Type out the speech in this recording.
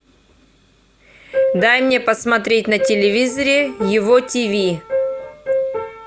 дай мне посмотреть на телевизоре его тиви